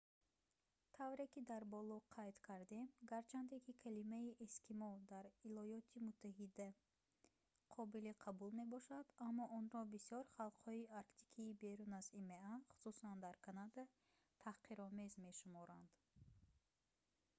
тавре ки дар боло қайд кардем гарчанде ки калимаи «эскимо» дар иёлоти муттаҳида қобили қабул мебошад аммо онро бисёр халқҳои арктикии берун аз има хусусан дар канада таҳқиромез мешуморанд